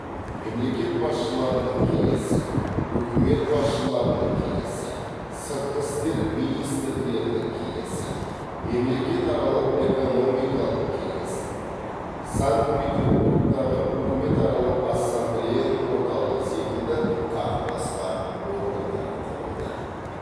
мемлекет басшыларының кеңесі үкімет басшыларының кеңесі сыртқы істер министрлерінің кеңесі мемлекетаралық экономикалық кеңес санкт петербургтағы үкіметаралық ассамблеяның орталығы секілді тағы басқа органдары құрылды